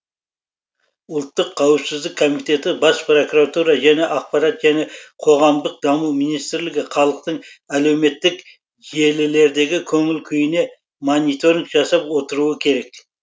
ұлттық қауіпсіздік комитеті бас прокуратура және ақпарат және қоғамдық даму министрлігі халықтың әлеуметтік желілердегі көңіл күйіне мониторинг жасап отыруы керек